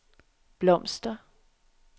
blomster